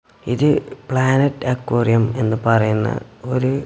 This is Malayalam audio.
ഇത് പ്ലാനറ്റ് അക്വാറിയം എന്ന് പറയുന്ന ഒരു--